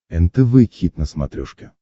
нтв хит на смотрешке